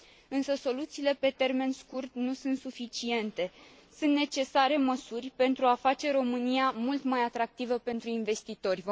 Însă soluțiile pe termen scurt nu sunt suficiente, sunt necesare măsuri pentru a face România mult mai atractivă pentru investitori.